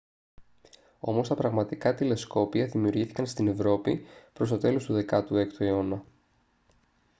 όμως τα πρώτα πραγματικά τηλεσκόπια δημιουργήθηκαν στην ευρώπη προς το τέλος του 16ου αιώνα